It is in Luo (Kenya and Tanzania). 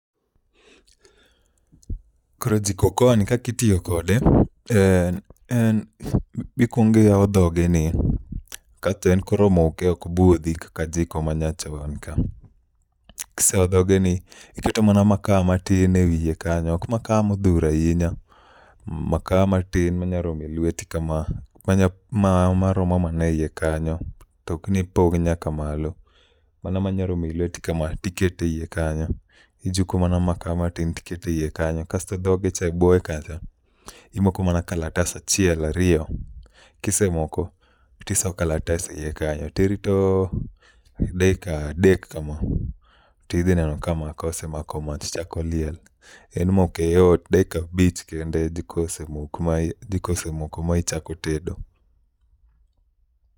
Koro jiko okoa ni kakitiyo kode, en en mikwongiyawo dhoge ni kasto en koro moke ok budhi kaka jiko ma nyachon ka. Kise yawo dhoge ni, iketo mana maka matin e wiye kanyo ok maka modhuro ahinya. Maka matin manya romo lweti kama, manya ma maromo mana e iye kanyo, tokni ipong' nyaka malo. Mana manya romo e lweti kama tikete iye kanyo. Ijuko mana maka matin, tikete iye kanyo. Kasto dhoge cha e buoye kanyo, imoko mana kalatas achiel ariyo. Kisemoko, tiso kalatas e iye kanyo tirito deka dek kama tidhi neno ka maka osemakomach chako liel. En moke yot dakika abich kende jiko osemoko michako tedo.